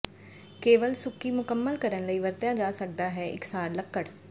ਕੇਵਲ ਸੁੱਕੀ ਮੁਕੰਮਲ ਕਰਨ ਲਈ ਵਰਤਿਆ ਜਾ ਸਕਦਾ ਹੈ ਇਕਸਾਰ ਲੱਕੜ